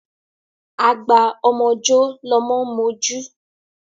Agba ọmọ jọ́ lọmọ ń mojú.